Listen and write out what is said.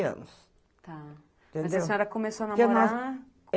anos, tá, entendeu? Mas a senhora começou a namorar?